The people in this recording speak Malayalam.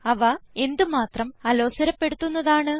അവ എന്ത് മാത്രം അലോസരപ്പെടുത്തുന്നതാണ്